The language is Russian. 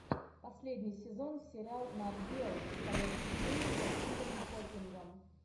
последний сезон сериал нат гео настоящий гений со стивеном хокингом